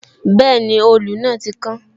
Bẹẹni, òòlù náà ti kán